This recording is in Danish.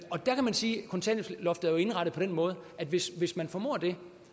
sige at kontanthjælpsloftet jo er indrettet på den måde at hvis hvis man formår det